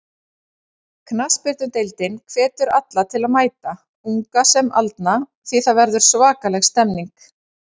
Knattspyrnudeildin hvetur alla til að mæta, unga sem aldna því það verður svakaleg stemning.